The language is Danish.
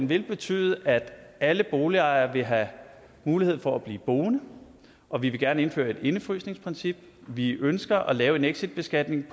vil betyde at alle boligejere vil have mulighed for at blive boende og vi vil gerne indføre et indefrysningsprincip vi ønsker at lave en exitbeskatning